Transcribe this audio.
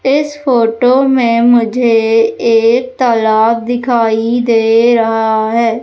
इस फोटो में मुझे एक तालाब दिखाई दे रहा है।